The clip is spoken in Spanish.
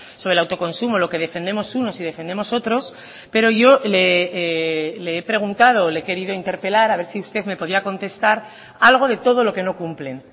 sobre el autoconsumo lo que defendemos unos y defendemos otros pero yo le he preguntado o le he querido interpelar a ver si usted me podía contestar algo de todo lo que no cumplen